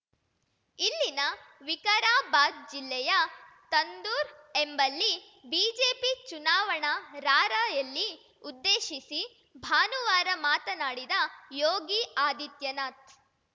ಇಲ್ಲಿನ ವಿಕಾರಾಬಾದ್‌ ಜಿಲ್ಲೆಯ ತಂದೂರ್‌ ಎಂಬಲ್ಲಿ ಬಿಜೆಪಿ ಚುನಾವಣಾ ರಾರ‍ಯಲಿ ಉದ್ದೇಶಿಸಿ ಭಾನುವಾರ ಮಾತನಾಡಿದ ಯೋಗಿ ಆದಿತ್ಯನಾಥ್‌